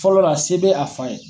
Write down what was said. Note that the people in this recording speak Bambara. Fɔlɔla se bɛ a fa ye.